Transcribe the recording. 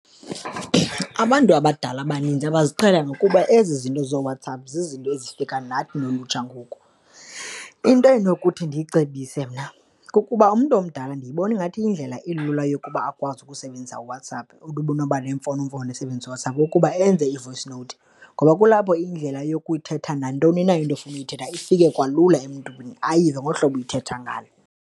Abantu abadala abaninzi abaziqhelanga ngokuba ezi zinto zooWhatsApp zizinto ezifika nathi nolutsha ngoku. Into endinokuthi ndiyicebise mna kukuba umntu omdala ndiyibona ingathi yindlela elula yokuba akwazi ukusebenzisa uWhatsapp, umntu unoba nemfonomfono esebenzisa uWhatsApp ukuba enze i-voice note. Ngoba kulapho indlela yokuthetha nantoni na into ofuna ukuyithetha ifike kalula emntwini, ayive ngolu hlobo uyithetha ngalo.